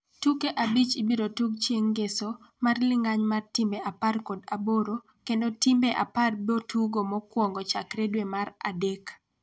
tuke abich ibiro tug chieng ngeso mar lingany mar timbe apar kod aboro kendo timbe apar bo tugo mokuongo chakre dwe mar adek